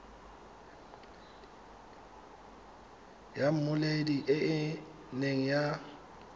ya mmoledi e ne ya